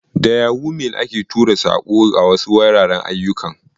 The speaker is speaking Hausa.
Da yahoo mail ake tura saƙo a wasu wuraren ayyukan.